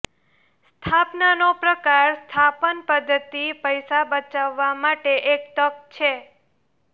સ્થાપનનો પ્રકાર સ્થાપન પદ્ધતિ પૈસા બચાવવા માટે એક તક છે